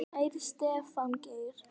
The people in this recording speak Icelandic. Kæri Stefán Geir.